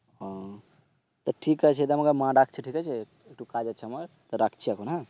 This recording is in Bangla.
তো ঠিক আছে তা আমাকে মা ডাকছে ঠিক আছে একটু কাজ আছে আমার তো রাখছি এখন হ্যাঁ